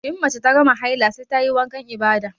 In mace ta gama haila sai tayi wankan ibada